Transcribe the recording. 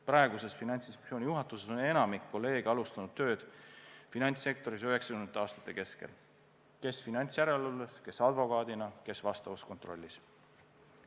Praeguses Finantsinspektsiooni juhatuses on enamik kolleege alustanud tööd finantssektoris 1990. aastate keskel – kes finantsjärelevalves, kes advokaadina, kes vastavas kontrollis.